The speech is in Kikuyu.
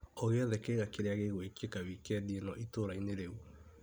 O gĩothe kĩega kĩrĩa gĩ gwĩkĩka wikendi ĩno itũra-inĩ rĩu .